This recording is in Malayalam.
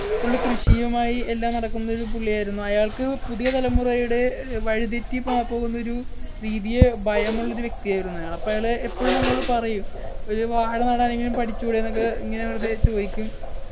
full കൃഷിയുമായി എല്ലാം നടക്കുന്നൊരു പുള്ളിയായിരുന്നു അയാൾക്ക് പുതിയ തലമുറയുടെ ഏർ വഴിതെറ്റി പോ പോകുന്നൊരു രീതിയെ ഭയമുള്ള ഒരു വ്യക്തിയായിരുന്നു അയാള് അപ്പൊ അയാള് എപ്പഴും ഞങ്ങളോട് പറയും ഒരു വാഴ നടാൻ എങ്കിലും പഠിച്ചൂടെന്നൊക്കെ ഇങ്ങനെ വെറുതെ ചോയിക്കും